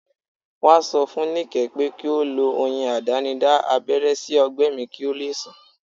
Wọ́n sọ fún Nike pé kí ó lo oyin àdánidá abẹ́rẹ́ sí ọgbẹ́ mi kí ó lè sàn